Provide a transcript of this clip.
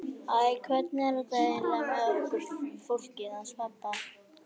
Æ, hvernig er þetta eiginlega með okkur fólkið hans pabba?